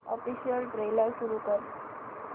official trailer सुरू कर